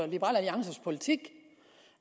liberal alliances politik